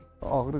Parçalanmışdı.